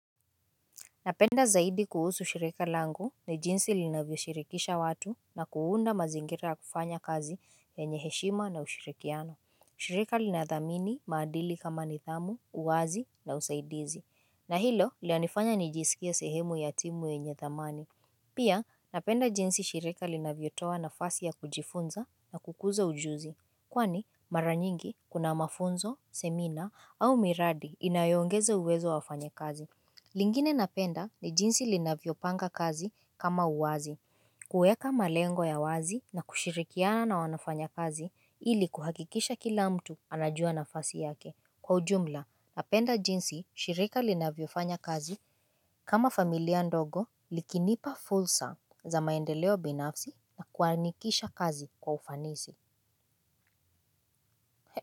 Ninachopenda zaidi kuhusu shirika langu ni jinsi linavyo shirikisha watu na kuunda mazingira ya kufanya kazi yenye heshima na ushirikiano. Shirika linadhamini maadili kama nithamu, uwazi na usaidizi. Na hilo linanifanya nijisikia sehemu ya timu yenye thamani. Pia napenda jinsi shirika linavyotoa nafasi ya kujifunza na kukuza ujuzi. Kwani mara nyingi kuna mafunzo, semina au miradi inayoongeza uwezo wafanya kazi. Lingine napenda ni jinsi linavyopanga kazi kama uwazi. Kuweka malengo ya wazi na kushirikiana na wafanyikazi ili kuhakikisha kila mtu anajua nafasi yake. Kwa ujumla, napenda jinsi shirika linavyo fanya kazi kama familia ndogo likinipa fursa za maendeleo binafsi na kuanikisha kazi kwa ufanisi.